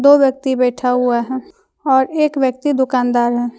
दो व्यक्ति बैठा हुआ है और एक व्यक्ति दुकानदार है।